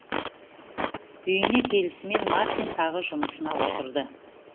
үйіне келісімен мартин тағы жұмысына отырды